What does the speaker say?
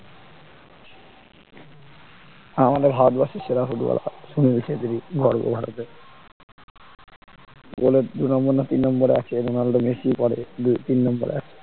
আমাদের ভারতবর্ষের সেরা ফুটবলার সুনিল ছেত্রি গর্ব ভারতের গোলের দু নম্বর না তিন নম্বরে আছে রোনাল্ডো মেসির পড়ে দুই তিন নম্বরে আছে